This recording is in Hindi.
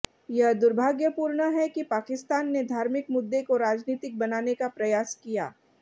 यह दुर्भाग्यपूर्ण है कि पाकिस्तान ने धार्मिक मुद्दे को राजनीतिक बनाने का प्रयास किया